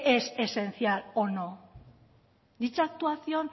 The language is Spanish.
es esencial o no dicha actuación